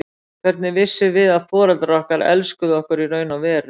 Hvernig vissum við að foreldrar okkar elskuðu okkur í raun og veru?